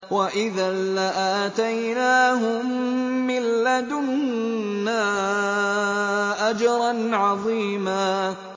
وَإِذًا لَّآتَيْنَاهُم مِّن لَّدُنَّا أَجْرًا عَظِيمًا